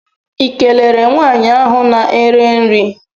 ị kelere nwaanyị ahụ na-ere nri?